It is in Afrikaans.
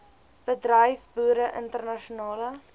bedryf boere internasionale